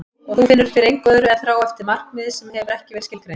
Og þú finnur fyrir engu öðru en þrá eftir markmiði sem hefur ekki verið skilgreint.